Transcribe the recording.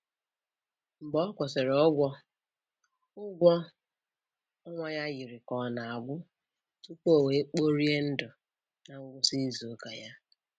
Mgbe ọ kwụsịrị ụgwọ, ụgwọ ọnwa ya yiri ka ọ na-agwụ tupu o wee kporie ndụ na ngwụsị izu ụka ya.